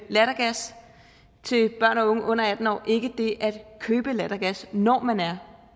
lattergas til børn og unge under atten år ikke det at købe lattergas når man er